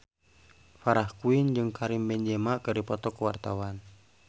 Farah Quinn jeung Karim Benzema keur dipoto ku wartawan